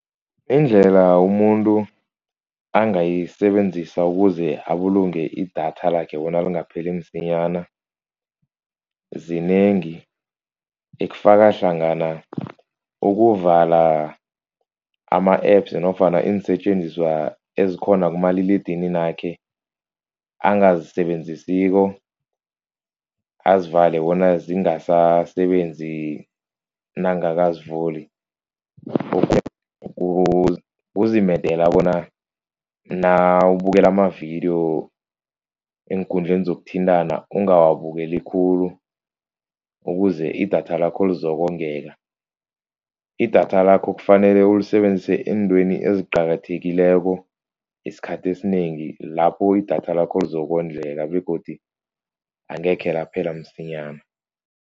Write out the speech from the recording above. Iindlela umuntu angayisebenzisa ukuze abulunge idatha lakhe bona lingapheli msinyana. Zinengi efakahlangana ukuvala ama-apps nofana iinsetjenziswa ezikhona kumaliledininakhe angazisebenzisiko. Azivale bona zingasasebenzi nangakazivuli. Kuzimedela bona nawubukela amavidiyo eenkundleni zokuthintana ungawabukeli khulu ukuze idatha lakho lizokongeka. Idatha lakho kufanele ulisebenzise eentweni eziqakathekileko esikhathi esinengi lapho idatha lakho lizokondleka begodu angekhe laphela msinyana.